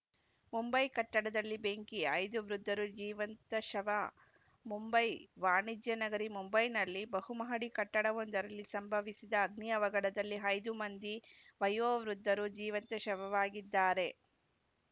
ಮುಂಬೈ ಕಟ್ಟಡದಲ್ಲಿ ಬೆಂಕಿ ಐದು ವೃದ್ಧರು ಜೀವಂತ ಶವ ಮುಂಬೈ ವಾಣಿಜ್ಯ ನಗರಿ ಮುಂಬೈನಲ್ಲಿ ಬಹುಮಹಡಿ ಕಟ್ಟಡವೊಂದರಲ್ಲಿ ಸಂಭವಿಸಿದ ಅಗ್ನಿ ಅವಘಡದಲ್ಲಿ ಐದು ಮಂದಿ ವಯೋವೃದ್ಧರು ಜೀವಂತ ಶವವಾಗಿದ್ದಾರೆ